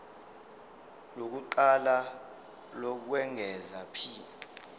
lokuqala lokwengeza p